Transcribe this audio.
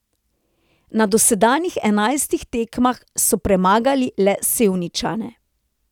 Na dosedanjih enajstih tekmah so premagali le Sevničane.